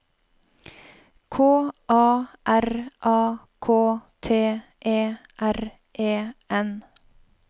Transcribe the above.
K A R A K T E R E N